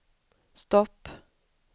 stopp